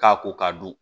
K'a ko ka don